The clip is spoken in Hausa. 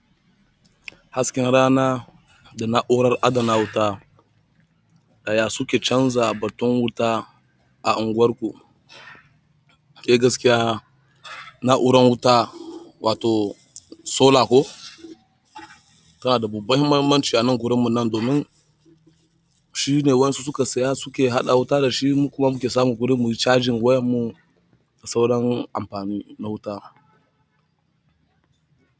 Hasken rana da na'urar adana wuta ɗaya suke canza batun wuta a unguwarku. Eh gaskiya na'urar wuta wato solar ko, tana da babban mahimmanci a nan gurinmu nan domin shine waƴansu suka saya suke haɗa wuta da shi mu kuma muke samun guri muyi charging wayan mu da sauran amfani na wuta.